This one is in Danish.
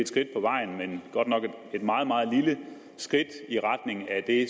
skridt på vejen men godt nok et meget meget lille skridt i retning af det